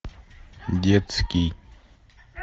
детский